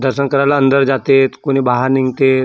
दर्शन कराले अंदर जाते त कुणी बाहेर निगतेत .